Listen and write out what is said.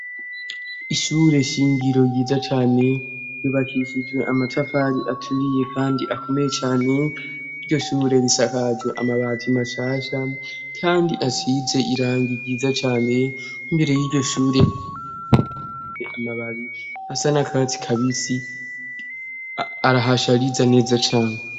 Ishure shingiro ryiza cane ryubakishijwe amatafari aturiye kandi akomeye cane iryo shure risakajwe amabati mashasha kandi asize irangi ryiza cane imbere yiryo shure amababi asa n'akatsi kabisi arahashariza neza cane.